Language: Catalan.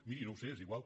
miri no ho sé és igual